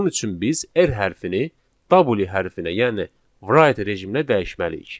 Bunun üçün biz r hərfini w hərfinə, yəni write rejiminə dəyişməliyik.